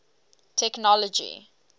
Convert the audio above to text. technology